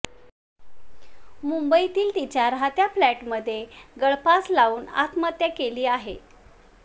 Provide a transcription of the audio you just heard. मुंबईतील तिच्या राहत्या फ्लॅटमध्ये गळफास लावून आत्महत्या केली आहे